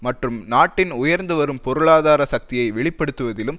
மற்றும் நாட்டின் உயர்ந்து வரும் பொருளாதார சக்தியை வெளிப்படுத்துவதிலும்